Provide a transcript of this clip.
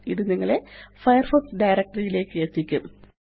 ഇത് നിങ്ങളെ Firefox directory യിലേയ്ക്ക് എത്തിക്കും